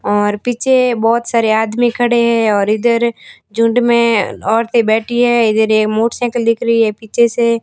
और पीछे बहोत सारे आदमी खड़े हैं और इधर झुंड में औरतें बैठी है इधर ये मोटरसाइकिल दिख रही पीछे से--